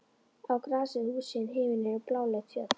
Á grasið, húsin, himininn og bláleit fjöll.